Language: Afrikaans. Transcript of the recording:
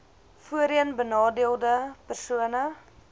voorheen benadeelde persone